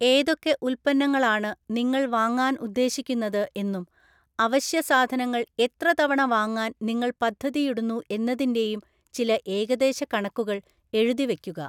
ഏതൊക്കെ ഉൽപ്പന്നങ്ങളാണ് നിങ്ങൾ വാങ്ങാൻ ഉദ്ദേശിക്കുന്നത് എന്നും അവശ്യസാധനങ്ങൾ എത്ര തവണ വാങ്ങാൻ നിങ്ങൾ പദ്ധതിയിടുന്നു എന്നതിന്റെയും ചില ഏകദേശ കണക്കുകൾ എഴുതി വയ്ക്കുക.